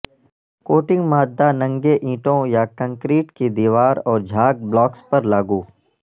coating مادہ ننگے اینٹوں یا کنکریٹ کی دیوار اور جھاگ بلاکس پر لاگو